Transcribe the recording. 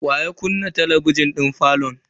Wa ya kunna talabijin din falon?